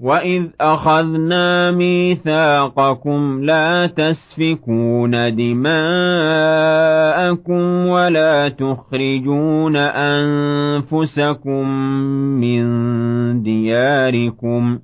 وَإِذْ أَخَذْنَا مِيثَاقَكُمْ لَا تَسْفِكُونَ دِمَاءَكُمْ وَلَا تُخْرِجُونَ أَنفُسَكُم مِّن دِيَارِكُمْ